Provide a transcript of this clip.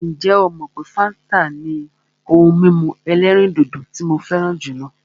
Ǹjẹ́ ó mọ wípé fáńtà ni ohun mímu ẹ̀lẹ́rìndodò tí mo fẹràn jùlọ?